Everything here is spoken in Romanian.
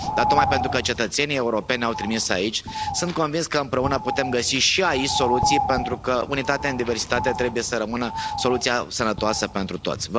Dar tocmai pentru că cetățenii europeni ne au trimis aici sunt convins că împreună putem găsi și aici soluții pentru că unitate în diversitate trebuie să rămână soluția sănătoasă pentru toți.